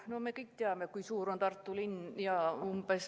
No me kõik teame, kui suur on Tartu linn.